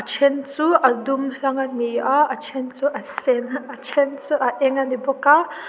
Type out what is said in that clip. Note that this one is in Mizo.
a then chu a dum hlang ani a a then chu a sen a then chu a eng ani bawk a.